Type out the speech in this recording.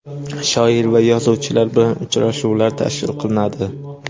shoir va yozuvchilar bilan uchrashuvlar tashkil qilinadi.